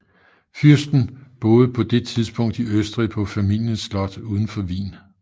Fyrsten boede på det tidspunkt i Østrig på familiens slot udenfor Wien